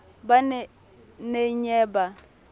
ba ne na ye ba